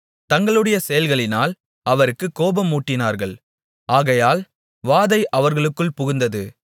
தங்களுடைய செயல்களினால் அவருக்குக் கோபம் மூட்டினார்கள் ஆகையால் வாதை அவர்களுக்குள் புகுந்தது